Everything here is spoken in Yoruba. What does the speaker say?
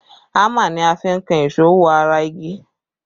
Hámà ni a fi n kan èso wọ ara igi